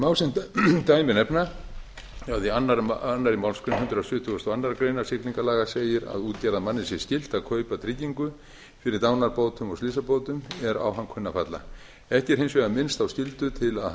má sem dæmi nefna að í annarri málsgrein hundrað sjötugasta og aðra grein siglingalaga segir að útgerðarmanni sé skylt að kaupa tryggingu fyrir dánarbótum og slysabótum er á hann kunna að falla ekki er hins vegar minnst á skyldu til að